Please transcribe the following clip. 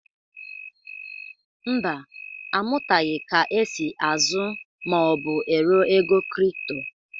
Mba, amụtaghị ka e si ázụ́ ma ọ bụ ero ego kripto.